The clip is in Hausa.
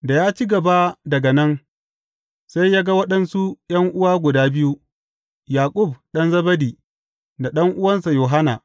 Da ya ci gaba daga nan, sai ya ga waɗansu ’yan’uwa guda biyu, Yaƙub ɗan Zebedi da ɗan’uwansa Yohanna.